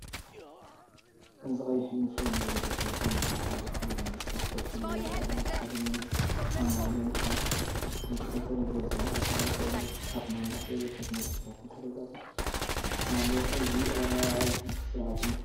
እዚ ቀይሕ ዩኒፎርም ዝለበሱ ህጻናት ኣብ ሓደ ክፍሊ ብመስርዕ ኮፍ ኢሎም ይራኣዩ ኣለው። ሓደ መምህር ኣብ መንጎኦም ኣብ ዝርከብ ጠረጴዛ ይንቀሳቐስ ኣሎ። ኣብ መናድቕ ስእልታትን ምልክታታትን ተለጢፉ ኣሎ። እዚ ኣረኣእያ ትምህርትን ስርዓትን እዩ።